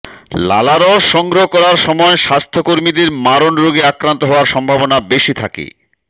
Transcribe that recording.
লালারস সংগ্রহ করার সময় স্বাস্থ্যকর্মীদের মারণ রোগে আক্রান্ত হওয়ার সম্ভাবনা বেশি থাকে